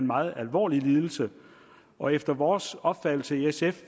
meget alvorlig lidelse og efter vores opfattelse i sf